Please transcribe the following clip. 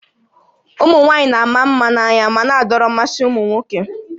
Ụmụ nwaanyị na-ama mma na-anya ma na-adọrọ mmasị ụmụ nwoke